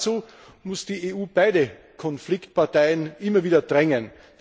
Dazu muss die EU beide Konfliktparteien immer wieder drängen.